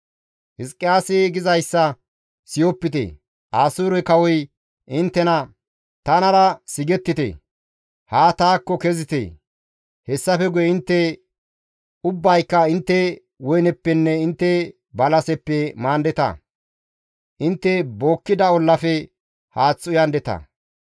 «Hizqiyaasi gizayssa siyopite. Asoore kawoy inttena, ‹Tanara sigettite; haa taakko kezite. Hessafe guye intte ubbayka intte woyneppenne intte balaseppe maandeta; intte bookkida ollafe haath uyandeta.